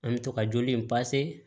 An bɛ to ka joli in